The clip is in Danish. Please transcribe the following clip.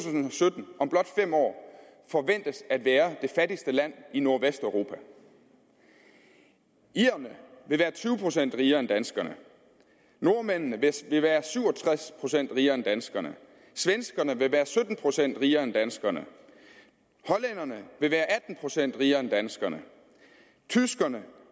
sytten om blot fem år forventes at være det fattigste land i nordvesteuropa irerne vil være tyve procent rigere end danskerne nordmændene vil være syv og tres procent rigere end danskerne svenskerne vil være sytten procent rigere end danskerne hollænderne vil være atten procent rigere end danskerne tyskerne